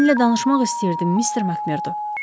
Sizinlə danışmaq istəyirdim, Mister Makmerdo.